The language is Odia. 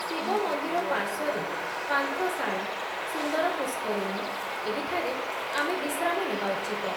ଶିବ ମନ୍ଦିର ପାର୍ଶ୍ଵରେ ପାନ୍ଥଶାଳା, ସୁନ୍ଦର ପୁଷ୍କରିଣୀ, ଏହିଠାରେ ଆମେ ବିଶ୍ରାମ ନେବା ଉଚିତ ।